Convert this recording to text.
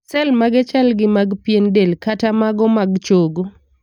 sel mage chal gi mag pien del kata mago mag chogo.